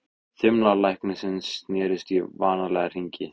Þumlar læknisins snerust í vanalega hringi.